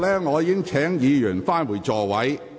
我已一再請議員返回座位。